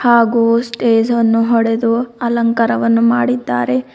ಹಾಗು ಸ್ಟೇಜ್ ಅನ್ನು ಹೊಡೆದು ಅಲಂಕಾರವನ್ನು ಮಾಡಿದ್ದಾರೆ.